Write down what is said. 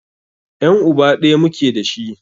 Yan' uba ɗaya muke dashi.